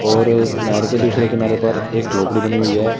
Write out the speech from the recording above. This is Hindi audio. और इस नेहर के दूसरे किनारे पर एक झोपड़ी बनी हुई हैं।